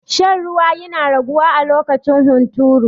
Shan ruwa yana raguwa a lokacin hunturu.